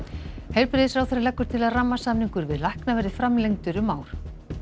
heilbrigðisráðherra leggur til að rammasamningur við lækna verði framlengdur um ár